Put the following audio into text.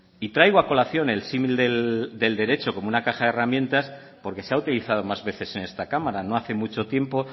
y traigo a colación el símil del derecho como una caja de herramientas porque se ha utilizado más veces en esta cámara no hace mucho tiempo